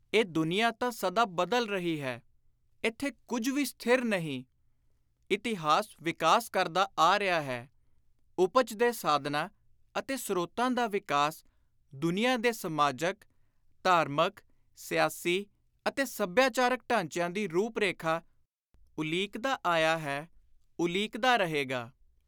ਇਹ ਦੁਨੀਆਂ ਤਾਂ ਸਦਾ ਬਦਲ ਰਹੀ ਹੈ; ਇਥੇ ਕੁਝ ਵੀ ਸਥਿਰ ਨਹੀਂ; ਇਤਿਹਾਸ ਵਿਕਾਸ ਕਰਦਾ ਆ ਰਿਹਾ ਹੈ; ਉਪਜ ਦੇ ਸਾਧਨਾਂ ਅਤੇ ਸ੍ਰੋਤਾਂ ਦਾ ਵਿਕਾਸ ਦੁਨੀਆਂ ਦੇ ਸਮਾਜਕ, ਧਾਰਮਿਕ , ਸਿਆਸੀ ਅਤੇ ਸਭਿਆਚਾਰਕ ਢਾਂਚਿਆਂ ਦੀ ਰੂਪ-ਰੇਖਾ ਉਲੀਕਦਾ ਆਇਆ ਹੈ, ਉਲੀਕਦਾ ਰਹੇਗਾ।